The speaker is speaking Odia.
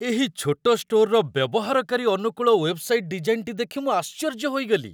ଏହି ଛୋଟ ଷ୍ଟୋରର ବ୍ୟବହାରକାରୀ ଅନୁକୂଳ ୱେବସାଇଟ୍ ଡିଜାଇନ୍‌ଟି ଦେଖି ମୁଁ ଆଶ୍ଚର୍ଯ୍ୟ ହୋଇଗଲି।